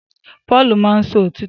Paul máá ń sọ òtítọ́